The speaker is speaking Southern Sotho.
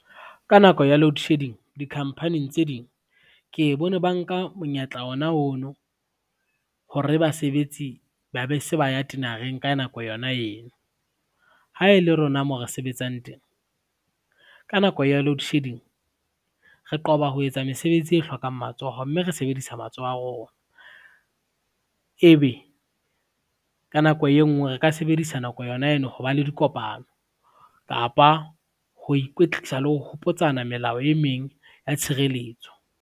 Ka nako ya loadshedding di-company-ng tse ding, ke e bone ba nka monyetla ona ono, hore basebetsi ba be se ba ya tinareng ka nako yona eno. Ha e le rona mo re sebetsang teng, ka nako ya loadshedding, re qoba ho etsa mesebetsi e hlokang matsoho mme re sebedisa matsoho a rona, ebe ka nako e ngwe re ka sebedisa nako yona eno ho ba le dikopano kapa ho ikwetlisa le ho hopotsana melao e meng ya tshireletso.